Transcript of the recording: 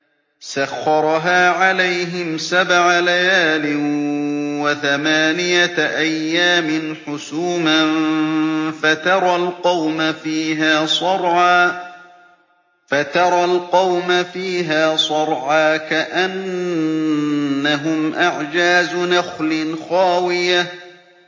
سَخَّرَهَا عَلَيْهِمْ سَبْعَ لَيَالٍ وَثَمَانِيَةَ أَيَّامٍ حُسُومًا فَتَرَى الْقَوْمَ فِيهَا صَرْعَىٰ كَأَنَّهُمْ أَعْجَازُ نَخْلٍ خَاوِيَةٍ